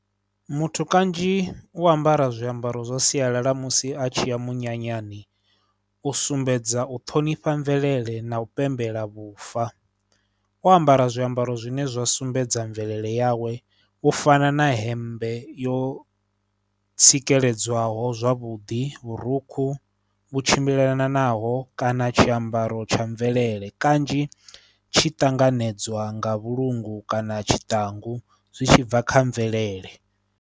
Muthu kanzhi u ambara zwiambaro zwa sialala musi a tshi ya munyanyani u sumbedza u ṱhonifha mvelele na u pembela vhufa, o ambara zwiambaro zwine zwa sumbedza mvelele yawe u fana na hemmbe yo tsikeledzwaho zwavhuḓi, vhurukhu vhu tshimbilelanaho kana tshiambaro tsha mvelele. Kanzhi tshi ṱanganedzwa nga vhulungu kana tshiṱangu zwi tshi bva kha mvelele.